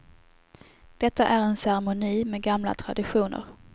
Detta är en ceremoni med gamla traditioner.